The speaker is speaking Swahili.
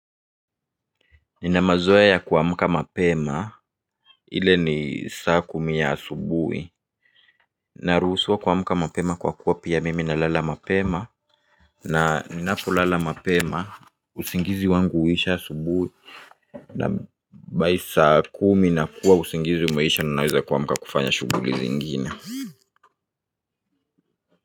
Nina mazoea ya kuamka mapema. Ile ni saa kumi ya asubhi. Naruhusiwa kuamuka mapema kwa kuwa pia mimi nalala mapema na ninapolala mapema. Usingizi wangu huisha asubuhi na by saa kumi nakuwa usingizi umeisha na naweza kuamka kufanya shuguli zingine.